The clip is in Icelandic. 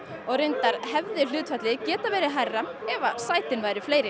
reyndar hefði hlutfallið geta verið hærra ef sætin væru fleiri